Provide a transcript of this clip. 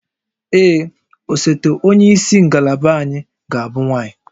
Ee, osote onye isi ngalaba anyị ga-abụ nwanyị